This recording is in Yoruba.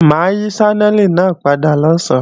Mà á yí Ṣánẹ́lì náà padà lọ̀sán